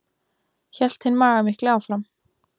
hélt hinn magamikli áfram.